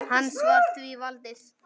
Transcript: Hans var því valdið.